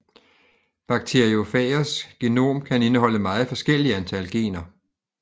Bakteriofagers genom kan indeholde meget forskellige antal gener